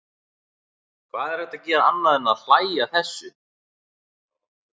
Hvað er hægt að gera annað en að hlægja að þessu?